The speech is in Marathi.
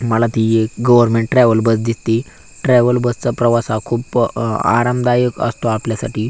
मला ती एक गव्हर्नमेंट ट्रॅवल बस दिसती ट्रॅवल बस चा प्रवास हा खूप अ आरामदायक असतो आपल्यासाठी.